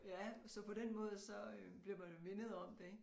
Ja så på den måde så øh bliver man jo mindet om det ik